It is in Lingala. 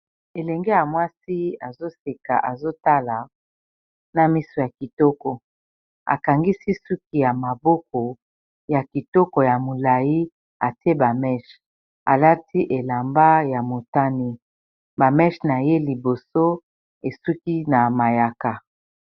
Elenge ya mwasi azoseka azotala na miso ya kitoko akangisi suki ya maboko ya kitoko ya molayi atie ba meche alati elamba ya motane ba meche na ye liboso esuki na mayaka.